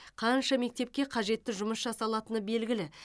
қанша мектепке қажетті жұмыс жасалатыны белгілі